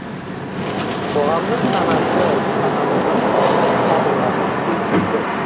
қоғамның санасы саналыны қабылдағысы келмейді